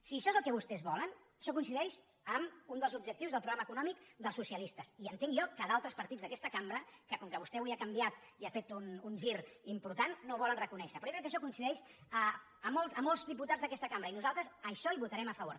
si això és el que vostès volen això coincideix amb un dels objectius del programa econòmic dels socialistes i entenc jo que d’altres partits d’aquesta cambra que com que vostè avui ha canviat i ha fet un gir important no ho volen reconèixer però jo crec que això coincideix amb molts diputats d’aquesta cambra i nosaltres a això hi votarem a favor